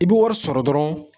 I bi wari sɔrɔ dɔrɔn